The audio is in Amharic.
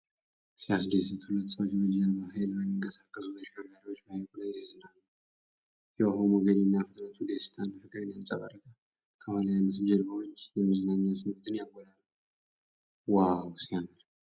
ሲያስደስት! ሁለት ሰዎች በጀልባ ኃይል በሚንቀሳቀሱ ተሽከርካሪዎች በሐይቁ ላይ ሲዝናኑ ። የውሃው ሞገድና ፍጥነቱ ደስታንና ፍቅርን ያንጸባርቃል። ከኋላ ያሉት ጀልባዎች የመዝናኛ ስሜትን ያጎላሉ። ዋው ሲያምር!